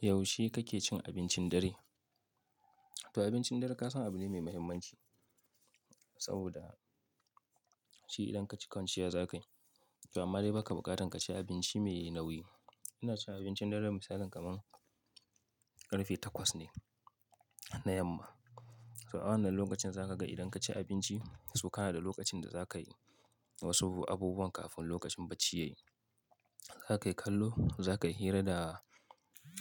Yaushe kake cin abincin dare? To abincin dare kasan abu ne mai muhimmanci saboda shi idan ka ci kwanciya za ka yi. To amma dai ba ka buƙatar ka ci abinci mai nauyi. Ina cin abincin dare misali kamar ƙarfe takwas ne na yamma. So, awannan lokacin za ka ga idan ka ci abinci, so kana da lokacin da za ka yi wasu abubuwan kafin lokacin bacci ya yi. Za ka yi kallo, za ka yi hira da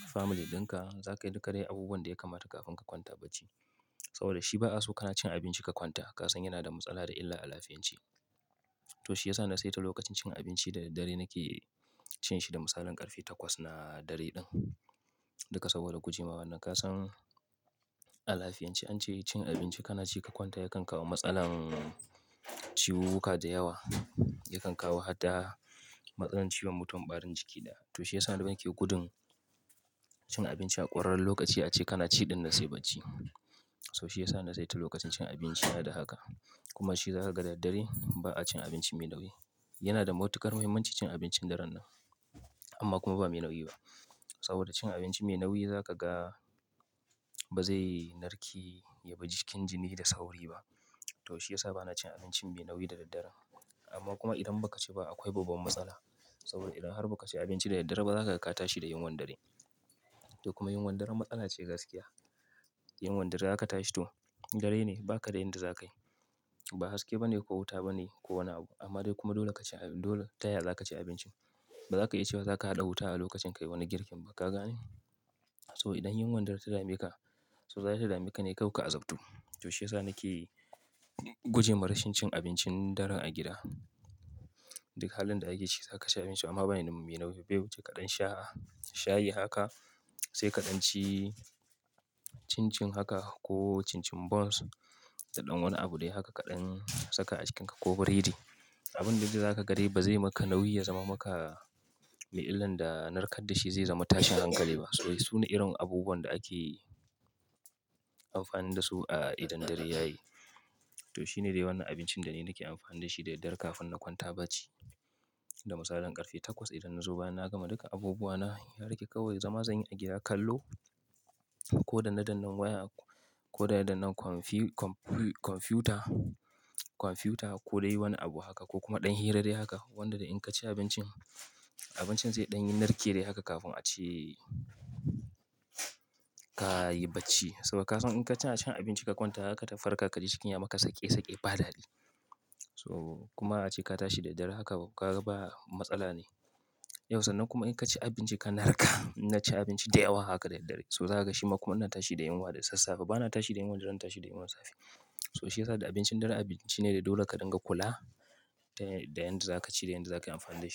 family ɗin ka, za ka yi duk abubuwan da ya kamata kafin ka kwanta bacci. Saboda shi ba a so kana cin abinci ka kwanta. Kasan yana da matsala da illa a lafiyance. To shi ya sa na saita lokacin cin abinci da daddare nake cin shi da misalin ƙarfe takwas na dare ɗin. Duka saboda guje mawannan kasan a lafiyance an ce cin abinci kana ci ka kwanta yakan kawo matsalan ciwuwuka da yawa, yakan kawo hatta matsalar ciwon mutum, ɓarin jiki da. To shi ya sa idan ake gudun cin abinci a ƙurar lokaci a ce kana ci ɗin na sai bacci. So shi ya sa na saita lokacin cin abinci na da haka. Kuma shi za ka ga daddare ba a cin abinci mai nauyi. Yana da matuqar muhimmanci cin abincin dare nan. Amma kuma ba mai nauyi ba. Saboda cin abinci mai nauyi za ka ga ba zai narke ya bar jikin jini da sauri ba. To shi ya sa ba na cin abinci mai nauyi da daddare. Amma kuma idan ba ka ci ba akwai babban matsala. Saboda idan har ba ka ci abinci da daddare ba za ka ga ka tashi da yunwan dare. To kuma yunwan dare matsala ce gaskiya. Yunwan dare za ka tashi to, dare ne ba ka da inda za ka yi. Ba haske ba ne ko wuta ba ne ko wani abu. Amma dai kuma dole ka ci, dole taya za ka ci abincin? Ba za ka yi cewa za ka haɗa wuta a lokacin kai wani girkin ba ka gane. So idan yunwan dare ta dame ka, so za ta dame ka ne kai ka azabto. To shi ya sa nake gujema rashin cin abincin dare a gida. Duk halin da ake ciki za ka ci abinci amma ba ne mai nauyi. Bai wuce ƙadan shaya haka, sai kaɗan ci cin-cin haka ko cin-cin buns. Da ɗan wani abu dai haka kaɗan saka a cikinka ko biredi. Abun da za ka ga dai ba zai maka nauyi ya zama maka mai illan da narkar da shi zai zama tashin hankali ba. So su ne irin abubuwan da ake amfani da su a idan dare ya yi. To shi ne dai wannan abincin da ni nake amfani da shi da daddare kafin na kwanta bacci. Da misalin ƙarfe takwas idan na zo, idan na gama duka abubuwa na, ya rage kawai zama zan yi a gida kallo. Ko danna dannan waya ko danna dannan kwamfiyut-kwamfiyut-kwamfiyuta ko dai wani abu haka ko kuma ɗan hira dai haka. Wanda da in ka ci abincin, abincin zai ɗan yi narke dai haka kafin a ce ka yi bacci. Saboda kasan in ka tuna cin abinci ka kwanta haka ta farkar ka ji cikin ya maka saki saki ba dari. So kuma a ce ka tashi da daddare haka ba matsala ne. Yaushe nan kuma in ka ci abinci ka narka, na ci abinci da yawa haka da daddare. So za ka ga shi ma kuma nan tashi da yunwa da sassafe. Ba na tashi da yunwan dare na tashi da yunwan safe. So shi ya sa da abincin dare abinci ne da dole ka dinga kula da yanda za ka ci da yanda za ka yi amfani da shi.